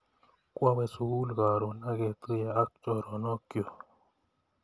Kwawe sukul karon ak ketuye ak choronok chuk